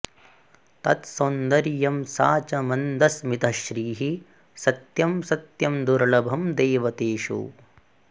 तत्सौन्दर्यं सा च मन्दस्मितश्रीः सत्यं सत्यं दुर्लभं दैवतेषु